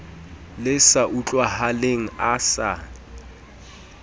le sa utlwahaleng a sa